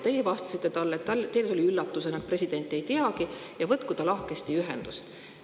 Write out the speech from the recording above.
Teie vastasite talle, et teile tuli üllatusena, et president seda ei teagi, et võtku ta lahkesti ühendust.